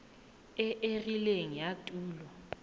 e e rileng ya tulo